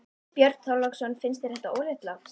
Björn Þorláksson: Finnst þér þetta óréttlátt?